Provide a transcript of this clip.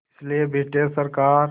इसलिए ब्रिटिश सरकार